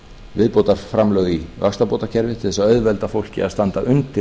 viðbótarframlög í vaxtabótakerfið til þess að auðvelda fólki að standa undir